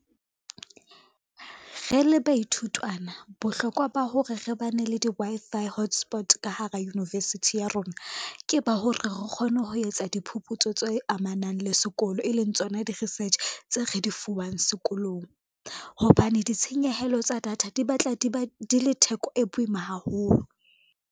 Re le baithutwana bohlokwa ba hore re ba ne le di-Wi-Fi hotspot ka hara university ya rona, ke ba hore re kgone ho etsa diphupu tseo tse amanang le sekolo, e leng tsona di-research tseo re di fuwang sekolong. Hobane ditshenyehelo tsa data di batla di le theko e boima haholo.